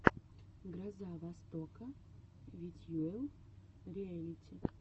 гроза востока ветьюэл риэлити